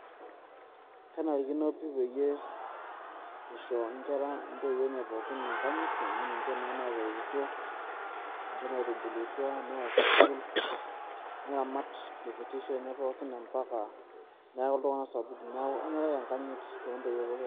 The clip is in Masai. kenarikino pii peyie eisho nkera intowuo enye pookin enkanyit amu ninvhe naaitubulutua, neya sukuul, neramat te kitisho enye mpaka neeku iltung'anak sapukin, neeku kenare ake enkayit intoiwuo pookin.